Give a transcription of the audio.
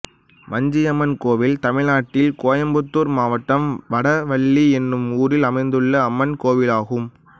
வஞ்சியம்மன் கோயில் தமிழ்நாட்டில் கோயம்புத்தூர் மாவட்டம் வடவள்ளி என்னும் ஊரில் அமைந்துள்ள அம்மன் கோயிலாகும்